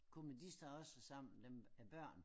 Kommer de så også sammen dem med børn?